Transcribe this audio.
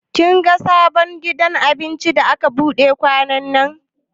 Kin ga sabon gidan abincin da aka buɗe kwanannan?